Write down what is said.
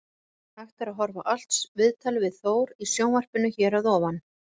Hægt er að horfa á allt viðtalið við Þór í sjónvarpinu hér að ofan.